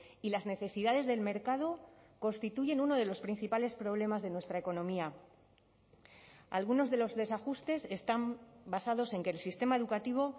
y las necesidades del mercado constituyen uno de los principales problemas de nuestra economía algunos de los desajustes están basados en que el sistema educativo